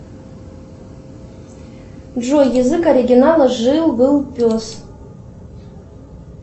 джой язык оригинала жил был пес